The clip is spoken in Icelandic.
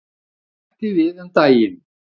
Hætti við um daginn.